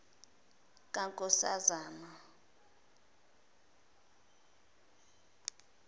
kankoszane